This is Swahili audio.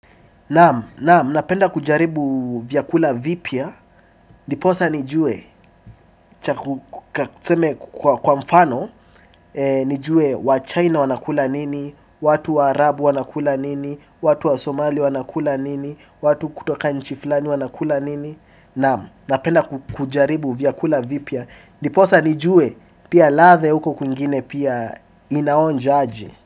Naam, naam, napenda kujaribu vyakula vipya, dniposa nijue, chaku tuseme kwa mfano, nijue wa China wanakula nini, watu wa Arab wanakula nini, watu wa Somali wanakula nini, watu kutoka nchi flani wanakula nini, naam, napenda kujaribu vyakula vipya, dniposa nijue, pia latha ya huko kungine pia inaonja aje.